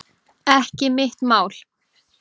Ekki mitt mál